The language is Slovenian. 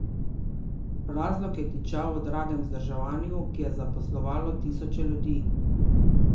Razlog je tičal v dragem vzdrževanju, ki je zaposlovalo tisoče ljudi.